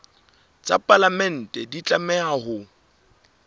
tsa palamente di tlameha ho